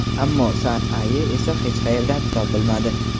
Ammo San-Aye esa hech qayerdan topilmadi.